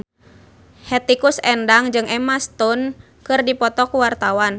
Hetty Koes Endang jeung Emma Stone keur dipoto ku wartawan